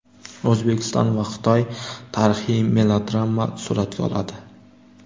O‘zbekiston va Xitoy tarixiy melodrama suratga oladi.